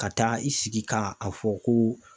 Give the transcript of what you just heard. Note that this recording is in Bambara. Ka taa i sigi ka a fɔ ko